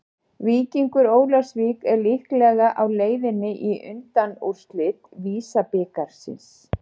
Víkingur Ólafsvík er líklega á leiðinni í undanúrslit VISA-bikarsins.